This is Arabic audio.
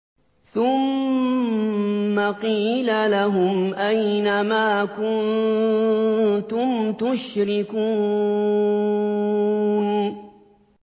ثُمَّ قِيلَ لَهُمْ أَيْنَ مَا كُنتُمْ تُشْرِكُونَ